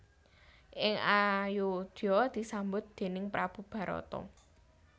Ing Ayodya disambut déning prabu Barata